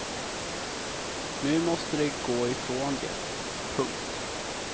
Nu måste de gå ifrån det. punkt